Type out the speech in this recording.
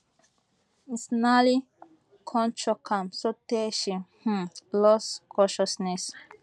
mcinally kon choke am sotay she um lose consciousness